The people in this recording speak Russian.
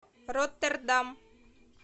роттердам